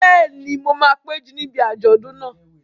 Bẹ́ẹ̀ni, mo máa péjú níbi àjọ̀dún náà